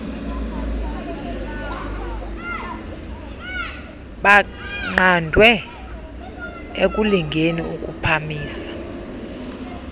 baqandwe ekulingeni ukuphamisa